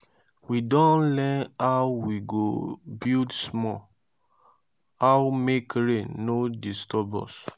we don learn how we go build small how make rain no disturb us.